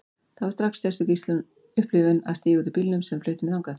Það var strax sérstök upplifun að stíga út úr bílnum sem flutti mig þangað.